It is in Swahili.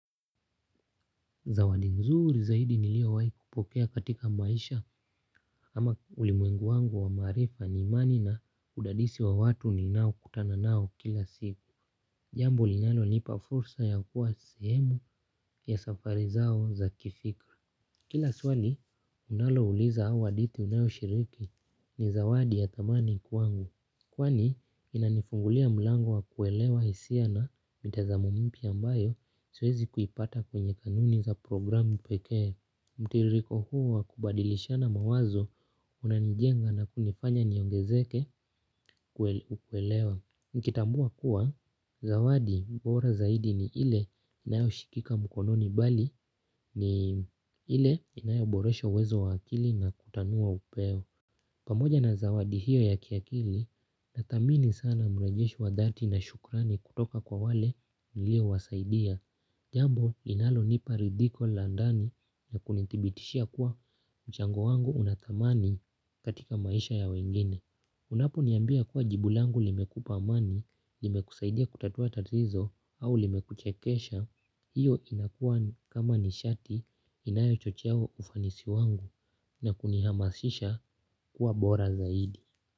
Zawadi nzuri zaidi niliowai pokea katika maisha ama ulimwengu wangu wa maarifa ni imani na udadisi wa watu ninao kutana nao kila siku. Jambo linalonipa fursa ya kuwa sehemu ya safari zao za kifikra. Kila swali unalouliza au adithi unayo shiriki ni zawadi ya thamani kwangu. Kwani inanifungulia mlango wa kuelewa hisia na mitazamo mpya ambayo siwezi kuipata kwenye kanuni za programu pekee. Mtiririko huo wa kubadilishana mawazo unanijenga na kunifanya niongezeke kuelewa. Nkitambua kuwa zawadi bora zaidi ni ile inayo shikika mkononi bali ni ile inayo boresho uwezo wa akili na kutanua upeo. Pamoja na zawadi hiyo ya kiakili nathamini sana mrejesho wa dhati na shukrani kutoka kwa wale niliowasaidia. Jambo linalonipa ridhiko la ndani na kunithibitishia kuwa mchango wangu unathamani katika maisha ya wengine. Unapo niambia kuwa jibu langu limekupa amani, limekusaidia kutatua tatizo au limekuchekesha, hiyo inakua kama nishati inayochocheo ufanisi wangu na kunihamasisha kuwa bora zaidi.